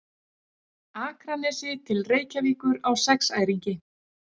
Akranesi til Reykjavíkur á sexæringi.